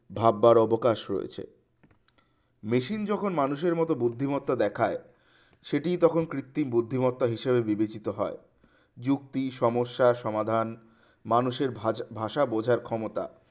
ভাববার অবকাশ রয়েছে machine যখন মানুষের মতো বুদ্ধিমত্তা দেখায় সেটি তখন কৃত্রিম বুদ্ধিমত্তা হিসাবে গঠিত হয়। যুক্তি মস্যার সমাধান মানুষের ভাষা ভাষা বোঝার ক্ষমতা